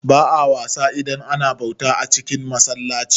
Ba'a wasa idan ana bauta a cin masallaci